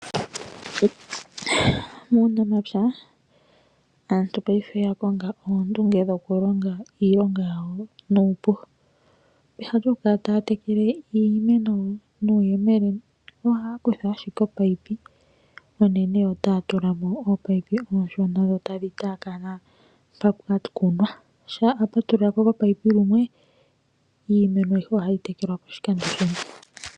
Muunamapya aantu paife oya konga oondunge dhokulonga iilonga yawo nuupu. Peha lyokukala taya tekele iimeno nuuyelele, ohaya kutha ashike omunino onene yo taya tulamo ominino omishona , dho tadhi tayakana mpa pwakunwa, ngele apatulula komunino lumwe, iimeno aihe ohayi tekelwa pashikando shimwe.